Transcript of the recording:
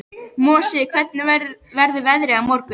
Mosi, hvernig verður veðrið á morgun?